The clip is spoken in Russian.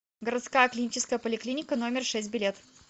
городская клиническая поликлиника номер шесть билет